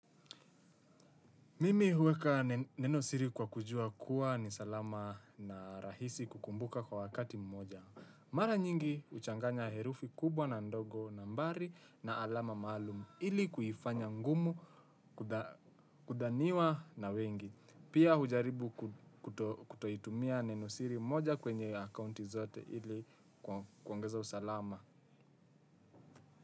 Mimi huweka neno siri kwa kujua kuwa ni salama na rahisi kukumbuka kwa wakati mmoja. Mara nyingi huchanganya herufi kubwa na ndogo nambari na alama maalumu ili kuifanya ngumu kudhaniwa na wengi. Pia hujaribu kutoitumia neno siri moja kwenye akaunti zote ili kuongeza usalama.